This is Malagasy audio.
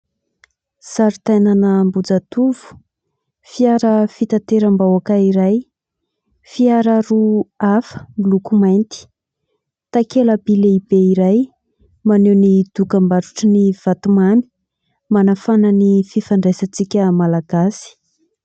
Sary tanàna Ambohijatovo, fiara fitateram-bahoaka iray fiara maro hafa miloko mainty. Takela-by lehibe iray maneho ny dokam-barotra ny vatomamy manafana ny fifandraisantsika malagasy.